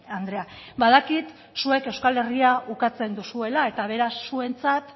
andrea badakit zuek euskal herria ukatzen duzuela eta beraz zuentzat